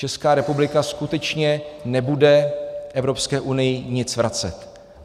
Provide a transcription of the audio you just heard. Česká republika skutečně nebude Evropské unii nic vracet.